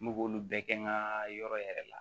N b'olu bɛɛ kɛ n ka yɔrɔ yɛrɛ la